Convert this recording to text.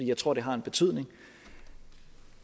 jeg tror det har betydning